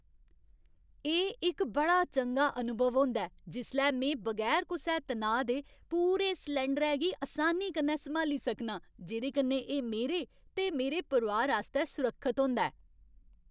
एह् इक बड़ा चंगा अनुभव होंदा ऐ जिसलै में बगैर कुसै तनाऽ दे पूरे सलैंडरै गी असानी कन्नै सम्हाली सकनां, जेह्दे कन्नै एह् मेरे ते मेरे परोआर आस्तै सुरक्खत होंदा ऐ।